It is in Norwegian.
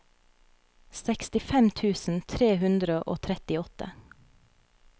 sekstifem tusen tre hundre og trettiåtte